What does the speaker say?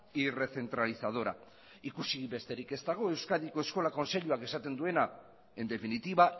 y recentralizadora ikusi besterik ez dago euskadiko eskola kontseiluak esaten duena en definitiva